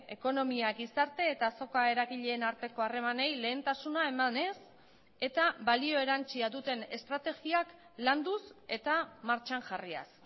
ekonomia gizarte eta azoka eragileen arteko harremanei lehentasuna emanez eta balio erantsia duten estrategiak landuz eta martxan jarriaz